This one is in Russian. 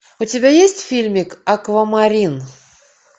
у тебя есть фильмик аквамарин